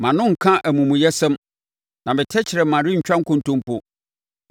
mʼano renka amumuyɛsɛm, na me tɛkrɛma rentwa nkontompo.